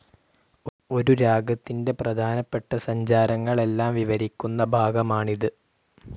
ഒരു രാഗത്തിൻ്റെ പ്രധാനപ്പെട്ട സഞ്ചാരങ്ങളെല്ലാം വിവരിക്കുന്ന ഭാഗമാണിതു്..